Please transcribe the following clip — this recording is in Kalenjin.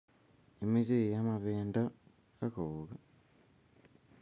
imoche iama bendo ak kouk